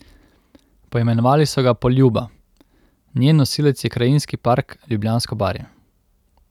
Poimenovali so ga Poljuba, njen nosilec je Krajinski park Ljubljansko barje.